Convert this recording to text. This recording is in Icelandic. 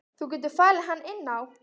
Þú getur falið hann inni á.